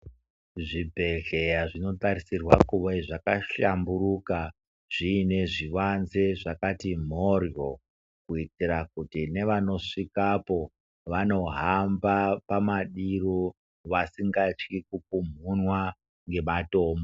Zvibhedhleya zvinosisa kuve zvabahlamburuka zviine zvivanze zvakati mhoryo kuitire kuti nevanosvikapo vanohamba pamadiro vasingatyi kupumhunwa ngematombo.